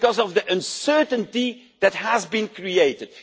Because of the uncertainty that has been created.